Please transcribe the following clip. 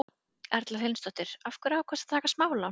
Erla Hlynsdóttir: Af hverju ákvaðstu að taka smálán?